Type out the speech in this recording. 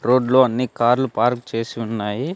రోడ్లో అన్ని కార్లు పార్కు చేసి ఉన్నాయి.